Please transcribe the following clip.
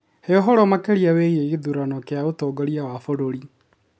He ũhoro makĩria wĩgiĩ gĩthurano kĩa ũtongoria wa bũrũri.